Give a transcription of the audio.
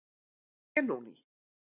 Benóný